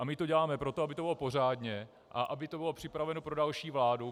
A my to děláme proto, aby to bylo pořádně a aby to bylo připraveno pro další vládu.